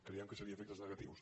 creiem que serien efectes negatius